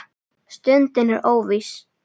Stundin er óviss.